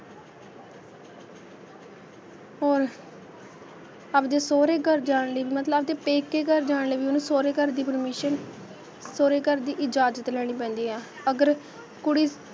ਹੋਰ ਆਪਦੇ ਸਹੁਰੇ ਘਰ ਜਾਣ ਲਈ, ਮਤਲਬ ਆਪਦੇ ਪੇਕੇ ਘਰ ਜਾਣ ਲਈ ਵੀ, ਓਹਨੂੰ ਸਹੁਰੇ ਘਰ ਦੀ permission ਸਹੁਰੇ ਘਰ ਦੀ ਇਜ਼ਾਜਤ ਲੈਣੀ ਪੈਂਦੀ ਆ, ਅਗਰ ਕੁੜੀ